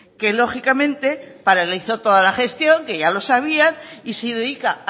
que lógicamente paralizó toda la gestión que ya lo sabía y se dedica